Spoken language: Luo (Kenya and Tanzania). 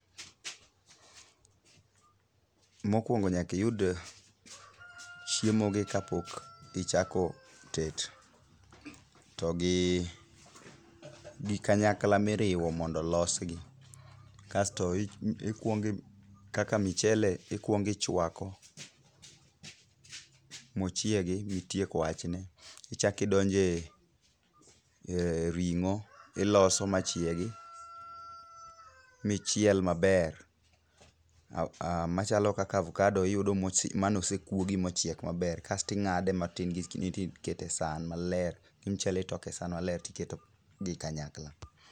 Mokwongo nyaka iyud chiemogi kapok ichako tet ,togi kanyakla miriwo mondo olosgi, kasto kaka michele ikwongo ichwako mochiegi mitiek wachne. Ichak idonje ring'o iloso machiegi michiel maber ,machalo kaka avokado, iyudo manosekuogi mochiek maber kasto ing'ade matin tikete e san maler ,gi mchele itoko e san maler tiketo gi kanyakla.